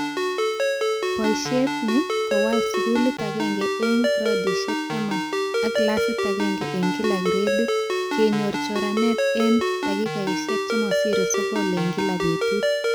Boishiet ni kowal skulit agenge eng gradishik 10 ak classit agenge eng kila gradit, kenyor choranet eng dakikaishek chemasire sokol eng kila betut